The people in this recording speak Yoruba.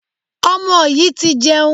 Ọmọ yìí ti jẹun.